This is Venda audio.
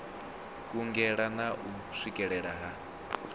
kungela na u swikelea ha